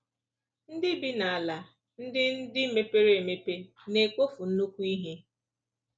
Ndị bi n’ala ndị ndị mepere emepe na-ekpofu nnukwu ihe.